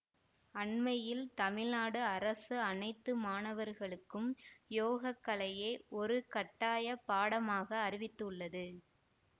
அண்மையில் தமிழ்நாடு அரசு அனைத்து மாணவர்களுக்கும் யோகக்கலையை ஒரு கட்டாய பாடமாக அறிவித்துள்ளது